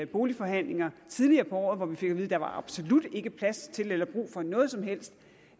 boligforhandlinger tidligere på året at der absolut ikke var plads til eller brug for noget som helst